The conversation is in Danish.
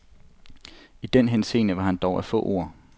I den henseende var han dog af få ord.